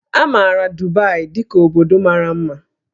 A maara Dubai dị ka obodo mara mma